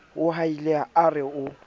mo hauhela a re ho